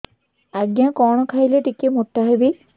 ଆଜ୍ଞା କଣ୍ ଖାଇଲେ ଟିକିଏ ମୋଟା ହେବି